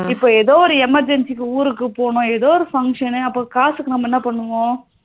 இப்போ எதோ ஒரு emergency க்கு ஊருக்கு போகணும் எதோ ஒரு function அப்போ காசுக்கு நாம என்ன பண்ணுவோம்?